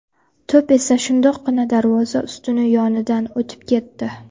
To‘p esa shundoqqina darvoza ustuni yonidan o‘tib ketdi.